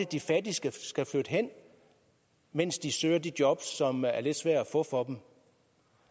de fattige skal flytte hen mens de søger de jobs som er lidt svære at få for dem